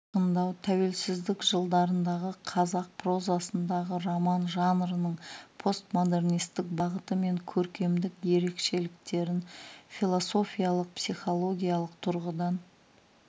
айқындау тәуелсіздік жылдарындағы қазақ прозасындағы роман жанрының постмодернистік бағыты мен көркемдік ерекшеліктерін философиялық психологиялық тұрғыдан